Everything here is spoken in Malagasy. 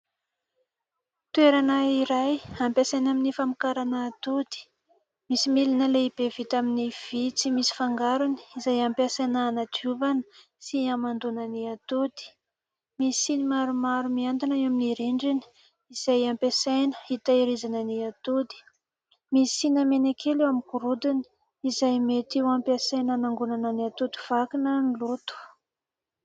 Toerana iray ampiasaina amin'ny famokarana atody. Misy milina lehibe vita amin'ny vy tsy misy fangarony, izay ampiasaina anadiovana sy amandoana ny atody. Misy siny maromaro mihantona eo amin'ny rindrina, izay ampiasaina itehirizana ny atody. Misy siny mena kely eo amin'ny gorodona, izay mety ho ampiasaina anangonana ny atody vaky na ny loto.